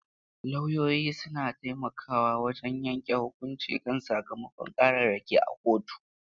Lauyoyi suna taimakawa wajen yanke hukunci kan sakamakon ƙararraki a kotu.